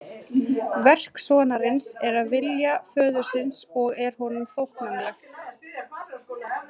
Verk sonarins er að vilja föðurins og er honum þóknanlegt.